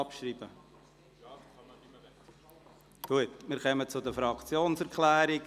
Wir kommen zu den Fraktionserklärungen.